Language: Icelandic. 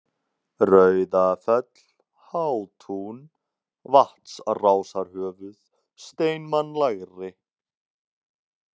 Rauðafell, Hátún, Vatnsrásarhöfuð, Steinmann lægri